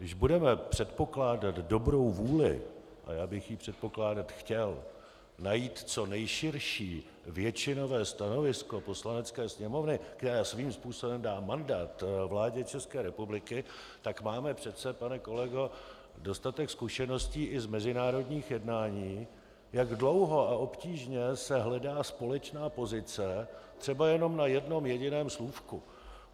Když budeme předpokládat dobrou vůli, a já bych ji předpokládat chtěl, najít co nejširší většinové stanovisko Poslanecké sněmovny, která svým způsobem dá mandát vládě České republiky, tak máme přece, pane kolego, dostatek zkušeností i z mezinárodních jednání, jak dlouho a obtížně se hledá společná pozice, třeba jenom na jednom jediném slůvku.